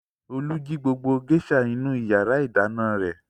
Olú jí gbogbo géíṣà inú ìyàrá-ìdáná rẹ̀.